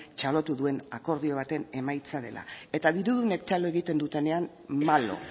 txalotu duen akordio baten emaitza dela eta dirudunek txalo egiten dutenean malo